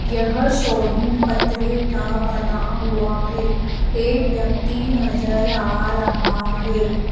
यह शोरूम पत्रें का बना हुआ है एक व्यक्ति नजर आ रहा है।